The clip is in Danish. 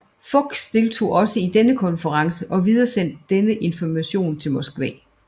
Fuchs deltog også i denne konference og videresendte denne information til Moskva